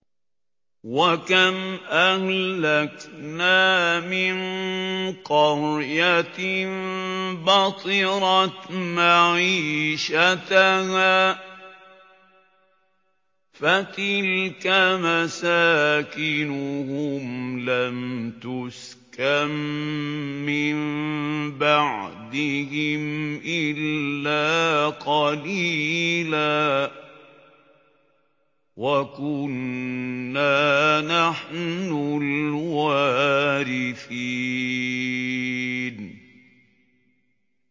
وَكَمْ أَهْلَكْنَا مِن قَرْيَةٍ بَطِرَتْ مَعِيشَتَهَا ۖ فَتِلْكَ مَسَاكِنُهُمْ لَمْ تُسْكَن مِّن بَعْدِهِمْ إِلَّا قَلِيلًا ۖ وَكُنَّا نَحْنُ الْوَارِثِينَ